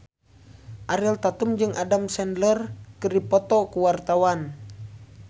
Ariel Tatum jeung Adam Sandler keur dipoto ku wartawan